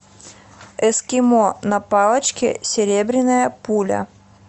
эскимо на палочке серебряная пуля